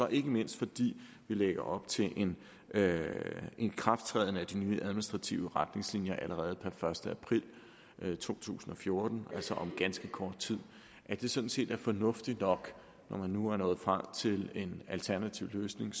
ikke mindst fordi vi lægger op til en ikrafttræden af de nye administrative retningslinjer allerede per første april to tusind og fjorten altså om ganske kort tid at det sådan set er fornuftigt nok når man nu var nået frem til en alternativ løsning